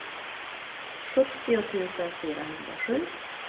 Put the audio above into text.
sjuttio tusen fyrahundrasju